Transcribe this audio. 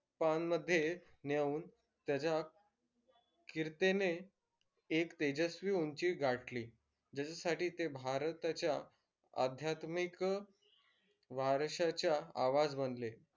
पानमध्ये नेऊन त्याच्या कीर्तीने एक तेजस्वी उंची गाठली. ज्याच्यासाठी ते भारताच्या आध्यात्मिक वारसाचा आवाज बनले.